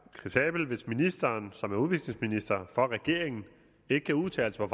kritisabelt hvis ministeren som er udviklingsminister for regeringen ikke kan udtale sig